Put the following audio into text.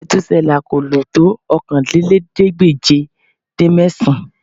Mètúsélà kò lò tó Okòólélẹ́ẹ̀ẹ́dégbèje-dín-mẹ́sàn-án